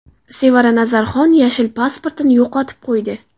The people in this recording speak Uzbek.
Sevara Nazarxon yashil pasportini yo‘qotib qo‘ydi.